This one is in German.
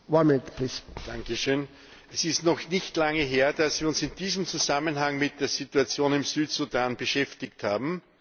Herr Präsident! Es ist noch nicht lange her, dass wir uns in diesem Zusammenhang mit der Situation im Südsudan beschäftigt haben.